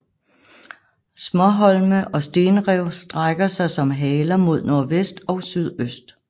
Småholme og stenrev strækker sig som haler mod nordvest og sydøst